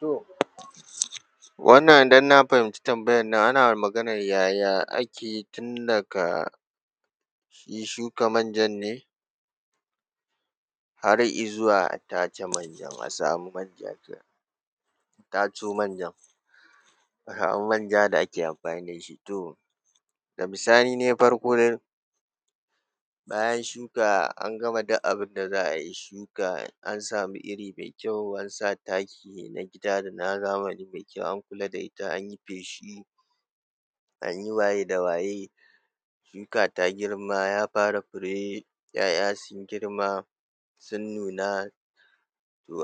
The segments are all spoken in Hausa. To wannan idan na fahimci tambayan nan ana maganan yaya ake tun daka shi shuka manjan ne? Har izuwa tace manja, a samu manja kenan taco manjan, a samu manja da ake amfani da shi to ga bisani nai farko dai bayan shuka, an gama duk abun da za’a yi shuka, an samu iri mai kyau, an sa taki na gida da na zamani mai kyau, an kula da ita, an yi feshi, an yi waye da waye, shuka ta girma, ya fara fure, ‘ya’ya sun girma, sun nuna,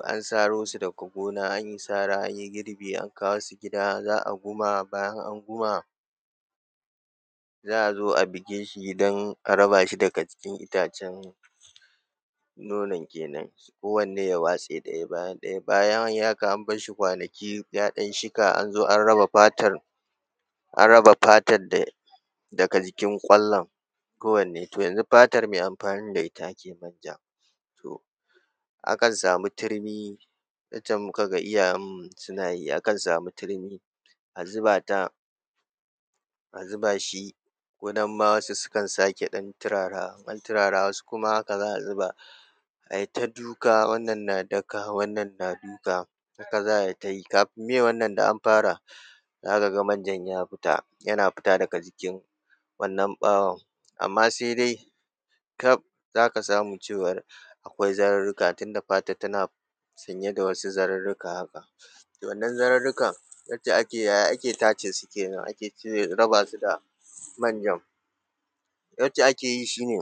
an saro su daga gona, an yi sara, an yi gibi, an kawo su gida, za’a guma, bayan an guma, za’a zo a bige shi don a raba shi daga jikin itacen, nonon kenan kowane ya waste daya bayan daya, bayan an yi haka an bar shi kwanaki ya ɗan shika an zo an raba fatan, an raba fatan daga jikin kwallon kowanne. To, yanzu fatar me anfanin da ita ake manja, to akan samu turmi yanda muka ga iyayen mu suna yi akan samu turmi a zuba ta a zuba shi ko nan ma wasu ma sukan sake ɗan turarawa, in an turara wasu kuma haka za a zuba a yi ta duka, wannan na daka, wannan na duka, haka za a yi, kafin meye wannan ɗan an fara za ka ga manjan ya fita yana fita daga cikin wannan bawon amma se dai, kaf za ka samu cewar akwai zarurruka tunda fatan tana sanye da wasu zarurruka haka. To, wannan zarurrukan ita ce ake yaya ake tace su kenan ake raba su da manjan? Yadda ake yi shi ne.